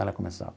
Ela começava...